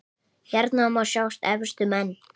Hérna má sjá efstu menn